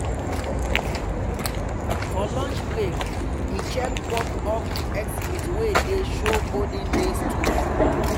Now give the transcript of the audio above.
for lunch break he check pop-up exhibit wey dey show olden days tools.